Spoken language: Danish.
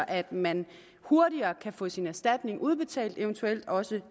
at man hurtigere kan få sin erstatning udbetalt eventuelt også